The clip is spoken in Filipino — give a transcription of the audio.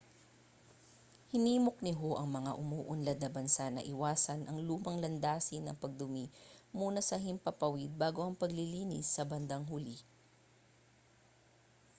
hinimok ni hu ang mga umuunlad na bansa na iwasan ang lumang landasin ng pagdumi muna sa himpapawid bago ang paglilinis sa bandang huli